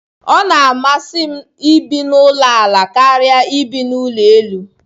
Ọ masịrị m ibi na ulo ala karia ebi n'ụlọ elu.